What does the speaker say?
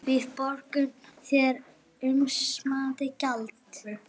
Við borgum þér umsamið gjald